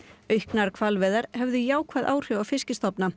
auknar hvalveiðar hefðu jákvæð áhrif á